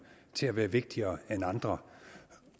til at være vigtigere end andre